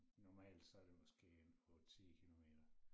Normalt så det måske en 8 10 kilometer